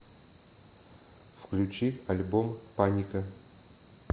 включи альбом паника